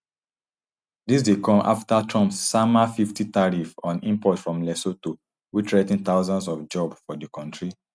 dis dey come afta trump sama fifty tariff on imports from lesotho wey threa ten thousands of jobs for di kontri